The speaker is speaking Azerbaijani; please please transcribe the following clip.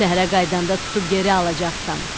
Şəhərə qayıdanda tutub geri alacaqsan.